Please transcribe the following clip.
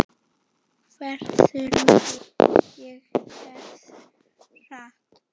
Hversu langt og hversu hratt.